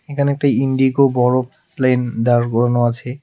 এখানে একটা ইন্ডিগো বড়ো প্লেন দাঁড় করানো আছে.